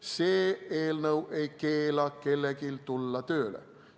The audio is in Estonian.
See eelnõu ei keela kellelgi tööle tulla.